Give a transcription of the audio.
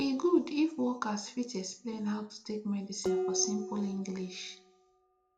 e good if workers fit explain how to take medicine for simple english